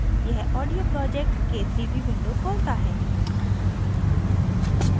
यह audio project – k3b window खोलता है